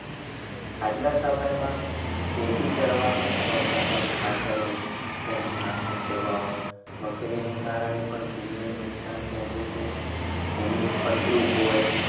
આજના સમયમાં ખેતી કરવા વપરાતા ખાતરો જંતુનાશક દવાઓ વગેરેને કારણે પણ ભૂમિને નુકસાન પહોંચે છે. ભૂમિ ફળદ્રુપ હોય